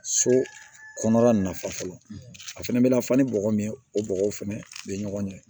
So kɔnɔna nafa fɔlɔ a fɛnɛ bɛna fɔ ni bɔgɔ min ye o bɔgɔ fɛnɛ bɛ ɲɔgɔn ɲɛ